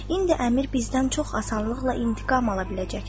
İndi əmir bizdən çox asanlıqla intiqam ala biləcəkdir.